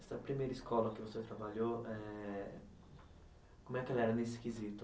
Essa primeira escola que você trabalhou, eh como é que ela era nesse quesito?